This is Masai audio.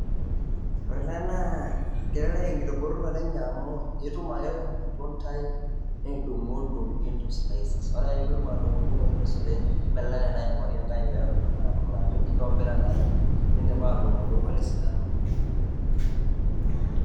Ore ele naa kelekek enkitobirata enye amu itum ake ele matundai nidung'udung' into slices, ore ake peeku idung'udung' o into slices nibelekenya naa aing'orie enkai pee edoli naa ajo inkaja, indipa atudung'dung'o te sidano.